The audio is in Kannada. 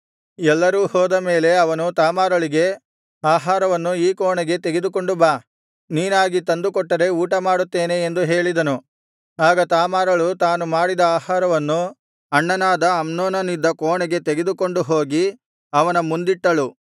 ಎಲ್ಲರೂ ಹೋದ ಮೇಲೆ ಅವನು ತಾಮಾರಳಿಗೆ ಆಹಾರವನ್ನು ಈ ಕೋಣೆಗೆ ತೆಗೆದುಕೊಂಡು ಬಾ ನೀನಾಗಿ ತಂದುಕೊಟ್ಟರೆ ಊಟಮಾಡುತ್ತೇನೆ ಎಂದು ಹೇಳಿದನು ಆಗ ತಾಮಾರಳು ತಾನು ಮಾಡಿದ ಆಹಾರವನ್ನು ಅಣ್ಣನಾದ ಅಮ್ನೋನನಿದ್ದ ಕೋಣೆಗೆ ತೆಗೆದುಕೊಂಡು ಹೋಗಿ ಅವನ ಮುಂದಿಟ್ಟಳು